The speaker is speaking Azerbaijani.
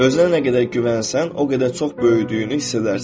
Özünə nə qədər güvənsən, o qədər çox böyüdüyünü hiss edərsən.